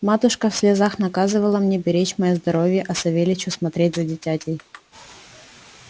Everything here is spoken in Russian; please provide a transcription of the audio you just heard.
матушка в слезах наказывала мне беречь моё здоровье а савельичу смотреть за дитятей